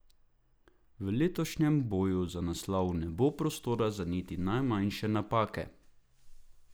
V letošnjem boju za naslov ne bo prostora za niti najmanjše napake.